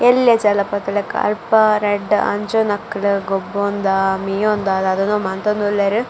ಎಲ್ಲ್ಯ ಜಲಪಾತ ಲಕ ಅಲ್ಪ ರಡ್ಡ್ ಅಂಜೊವುನಕುಲು ಗೊಬ್ಬೊಂದ ಮೀಯೊಂದ ದಾದನ ಮಂತೊಂದುಲ್ಲೆರ್ .